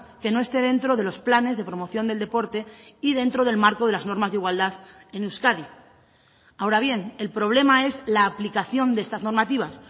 que no esté dentro de los planes de promoción del deporte y dentro del marco de las normas de igualdad en euskadi ahora bien el problema es la aplicación de estas normativas